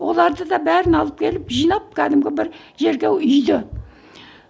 оларды да бәрін алып келіп жинап кәдімгі бір жерге үйді